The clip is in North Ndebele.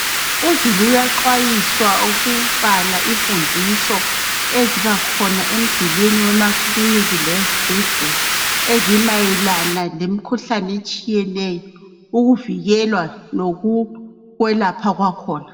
Izulu uyaxwayiswa ukubala imfundiso iziba khona emidulini yemakilinika lasezibhedlela ezimayelana lemikhuhlane etshiyeneyo ukuvikela lokwelapha kwakhona